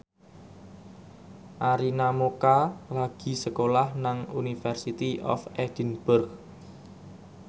Arina Mocca lagi sekolah nang University of Edinburgh